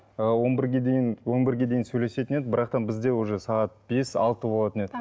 ы он бірге дейін он бірге дейін сөйлесетін едік бірақ та бізде уже сағат бес алты болатын еді